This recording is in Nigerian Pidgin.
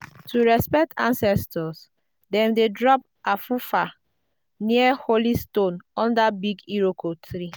to respect ancestors dem dey drop afufa near holy stone under big iroko tree.